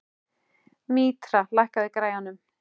Mítra, lækkaðu í græjunum.